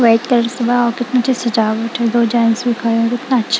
white colour सजावट है दो जेंट्स भी खड़े हैं कितना अच्छा--